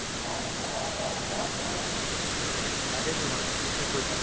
তাকেতো মানে তুমি ঠিক কৈছা